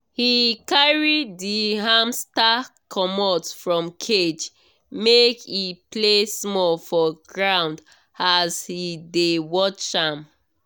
he carry the hamster comot from cage make e play small for ground as he dey watch am.